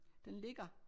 Den ligger